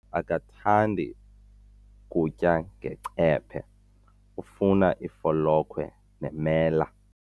Utata akathandi kutya ngecephe, ufuna ifolokhwe nemela.